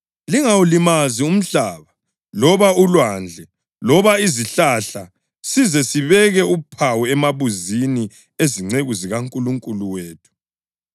“Lingawulimazi umhlaba loba ulwandle loba izihlahla size sibeke uphawu emabunzini ezinceku zikaNkulunkulu wethu.”